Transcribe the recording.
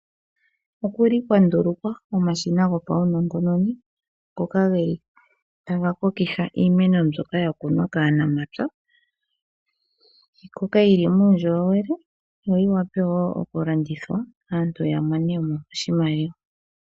Okuli kwandulukwa omashina go pawunongononi ngoka geli taga kokitha iimeno mbyoka yakunwa kaanamapya, yikoke yili muundjolowele yiwape okulandithwa aantu yamone oshimaliwa.